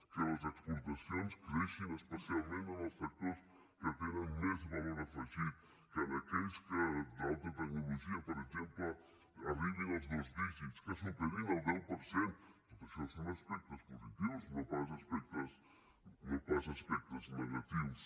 que les exportacions creixin especialment en els sectors que tenen més valor afegit que en els d’alta tecnologia per exemple arribin als dos dígits que superin el deu per cent tot això són aspectes positius no pas aspectes negatius